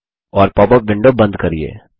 और popup window बंद करिये